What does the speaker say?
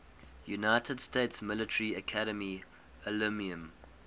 united states military academy alumni